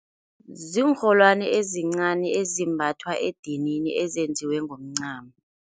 Ziinrholwani ezincani ezimbathwa edinini, ezenziwe ngomncamo.